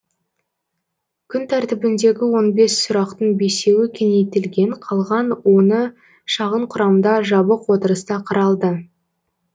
күн тәртібіндегі он бес сұрақтың бесеуі кеңейтілген қалған оны шағын құрамда жабық отырыста қаралды